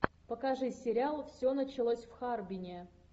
покажи сериал все началось в харбине